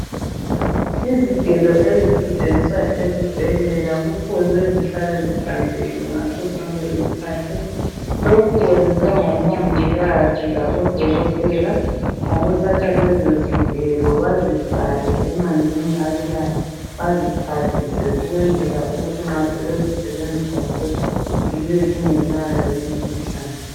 Izigelo ezisetshenziswa ezibhedlela kufuze zihlale zihlanzekile ngasosonke isikhathi lokhu kwenziwa ngomongikazi labo dokotela ukuthatha lezizigelo bazifake emanzin abilayo bazixwathise ukwenzela ukuthi nxa sebezisebenzisa futhi zibe zingelayo imikhuhlane